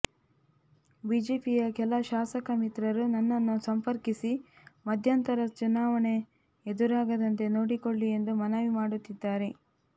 ಬಿಜೆಪಿಯ ಕೆಲ ಶಾಸಕ ಮಿತ್ರರು ನನ್ನನ್ನು ಸಂಪರ್ಕಿಸಿ ಮಧ್ಯಂತರ ಚುನಾವಣೆ ಎದುರಾಗದಂತೆ ನೋಡಿಕೊಳ್ಳಿ ಎಂದು ಮನವಿ ಮಾಡುತ್ತಿದ್ದಾರೆ